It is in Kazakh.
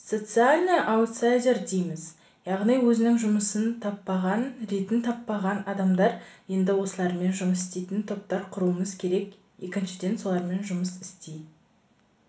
социальный аутсайдер дейміз яғни өзінің жұмысын таппаған ретін таппаған адамдар енді осылармен жұмыс істейтін топтар құруымыз керек екіншіден солармен жұмыс істей